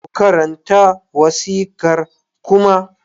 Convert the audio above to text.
Ku karanta wasiƙar Kuma!